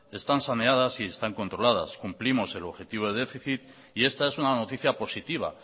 están saneadas y están controladas cumplimos el objetivo de déficit y esta es una noticia positiva